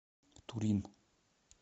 турин